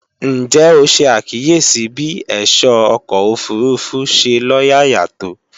Ǹjẹ́ o ṣe àkíyèsí bí ẹ̀ṣọ́ ọkọ̀ òfurufú ṣe lóyàyà tó?